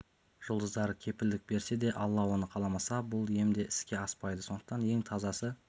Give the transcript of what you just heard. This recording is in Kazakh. жұлдыздары кепілдік берсе де алла оны қаламаса бұл ем де іске аспайды сондықтан ең тазасы